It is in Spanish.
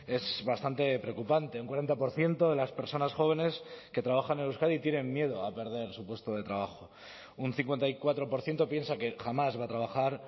es bastante preocupante un cuarenta por ciento de las personas jóvenes que trabajan en euskadi tienen miedo a perder su puesto de trabajo un cincuenta y cuatro por ciento piensa que jamás va a trabajar